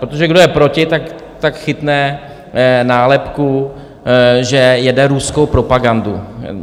Protože kdo je proti, tak chytne nálepku, že jede ruskou propagandu.